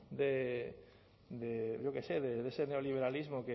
de ese neoliberalismo